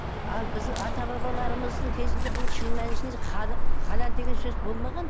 ал біздің ата бабаларымыздың кезінде бұл шын мәнісінде халал деген сөз болмаған